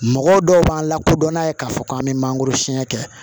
Mɔgɔ dɔw b'an lakodɔn n'a ye k'a fɔ k'an bɛ mangoro siɲɛ kɛ